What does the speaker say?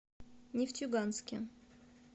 нефтеюганске